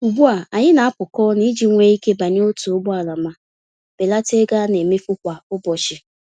Ugbu a, anyị na apụkọ-ọnụ iji nwe ike banye otu ụgbọala ma belata ego anemefu kwa ụbọchị